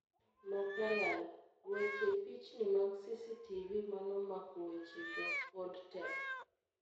Mathalan, weche pichni mag CCTV manomako wechego pod tek